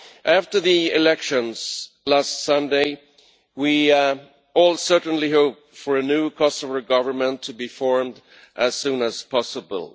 After the elections last Sunday, we all certainly hope for a new Kosovar government to be formed as soon as possible.